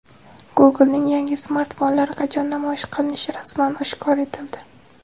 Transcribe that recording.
Google’ning yangi smartfonlari qachon namoyish qilinishi rasman oshkor etildi.